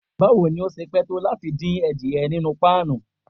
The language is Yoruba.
Bawo ni o ṣe pẹ to lati din adiẹ ninu pan?